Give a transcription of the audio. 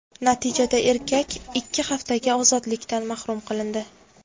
Natijada erkak ikki haftaga ozodlikdan mahrum qilindi.